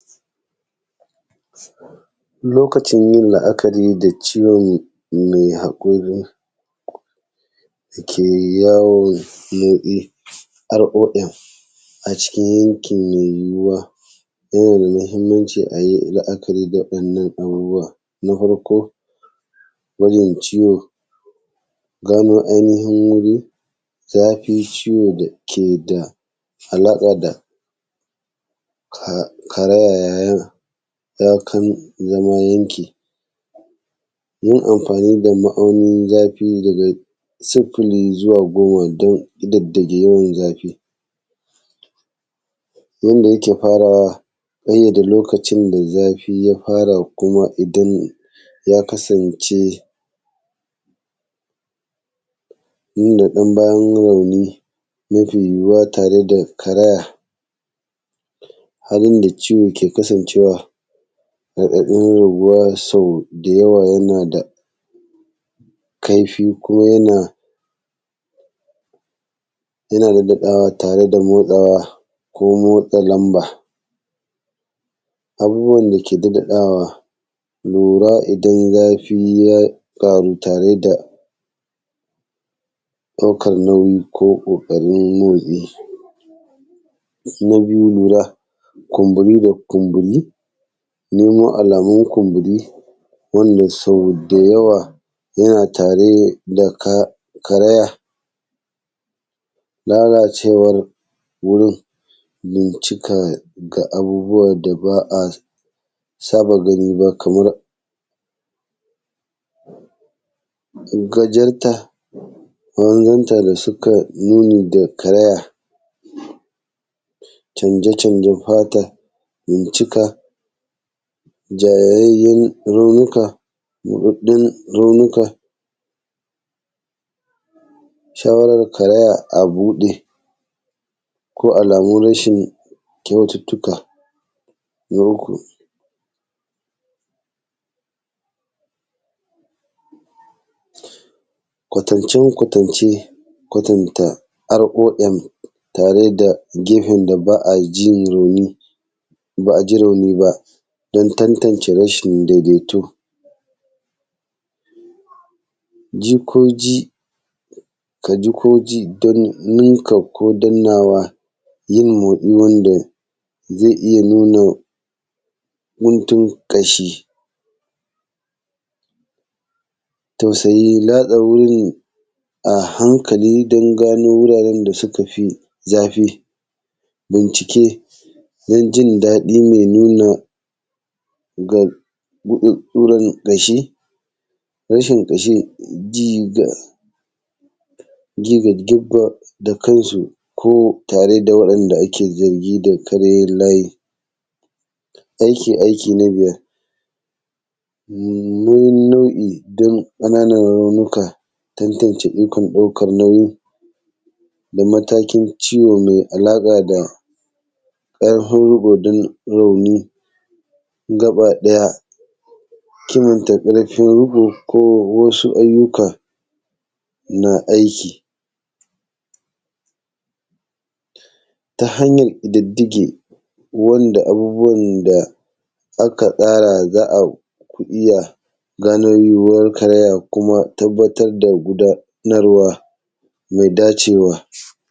Lokacin yin la’akari da ciwon mai haƙori ke yawo motsi haƙorin a cikin yanki mai yuwuwa iri na mhimmanci, a yi la’akari da irin waɗannan abubuwa na farko wannan ciwo, gano ainihin zafi ciwo dake da alaƙa da karaya yana iyakan zama yanke yin amfani da ma’aunin zafi daga sufuli zuwa goma dan ƙididdige yawan zafi, yanda yake farawa gami da lokacin da zafi ya fara kuma idan ya kasance inda ɗan bayan rauni mafi yuwuwa a tare da karaya. Halin da ciwon ke kasancewa raɗaɗin yuwuwa, so da yawa yana da kaifi kuma yana nan naɗawa tare da murɗawa ko motsa lamba. Abubuwan da ke daɗe kara lura idan zafi ya ƙaru tare da ɗaukan nauyi ko ƙoƙarin man yi, na biyu lura kumburi idan kumburi nemo alamun kumburi wanda so da yawa yana tare da karaya, lalacewar wurin, bincika da abubuwa da ba a saba gani ba kamar in ka jirta kaman jan ta da suka yini da karaya, canjecanjen fata, bincika ja yayin raunuka dan raunuka shawarar karaya abuɗe ko alamun rashin kyaututuka, na uku kwatance-kwatance, kwatanta alƙalla tare da giɓin da ba ajin rauni ba, a ji rauni ba dan tantance rashi daidaito ji ko ji kaji ko ji dan ninka ko dannawa, yin motsin wanda zai iya nuna guntun kasha, tausayi lta sa wurin a hankali dan gano wuraren da suka fi zafi, bincika dan jin daɗi me nuna ma kuwan ƙashi rashin ka sha ji da gina da kansu dan tare da wanda ake zargi da karyewa. A yi aiki aikin nuno nau’i dan ƙananan raunuka, tantance dukkan ɗaukan nauyi da matakin ciwo mai alaƙa dan ɗaggowan rauni gabaɗaya, kin ta ƙarfin riƙo ko wasu ayyuka na aiki ta hanyar ƙididdige wanda abubuwan da aka tsara za a iya gano yuwuwar karaya ko abubuwan da aka tsara dan rawa mai dacewa.